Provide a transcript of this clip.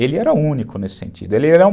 Ele era único nesse sentido. Ele era